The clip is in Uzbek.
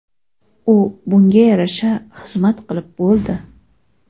U bunga yarasha xizmat qilib bo‘ldi.